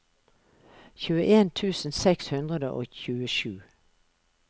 tjueen tusen seks hundre og tjuesju